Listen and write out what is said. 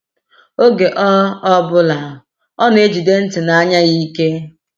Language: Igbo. Oge ọ ọ bụla, ọ na-ejide ntị na anya ya ike.